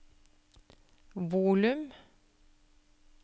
volum